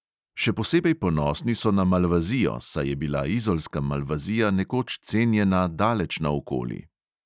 Še posebej ponosni so na malvazijo, saj je bila izolska malvazija nekoč cenjena daleč naokoli.